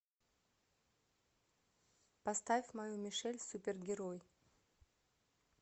поставь мою мишель супергерой